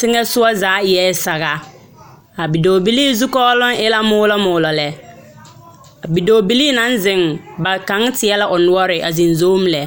yeŋɛ soga zaa eɛ saga a bidɔɔbilii zukɔɔloŋ zaa eɛ moolɔ moolɔ lɛ. a bidɔɔbilii naŋ zeŋ, ba kaŋa teɛ la o noɔre a zeŋ zom lɛ.